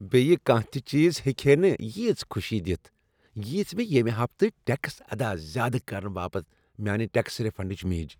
بیٚیہ کانہہ تہ چیز ہیکہ ہے نہ ییژ خوشی دِتھ ییژ مےٚ ییٚمہ ہفتہٕ ٹیکس ادا زیادٕ کرنہٕ باپت میانہ ٹیکس ریفنڈسۭتۍ میج۔